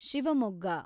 Shivamogga